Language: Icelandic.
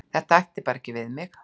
Það ætti bara ekki við mig.